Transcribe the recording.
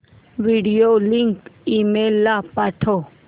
video link email ला पाठव